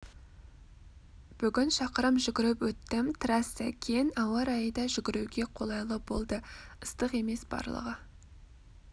бүгін шақырым жүгіріп өттім трасса кең ауа райы да жүгіруге қолайлы болды ыстық емес барлығы